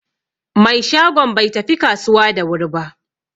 Mai shagon bai tafi kasuwa da wuri ba.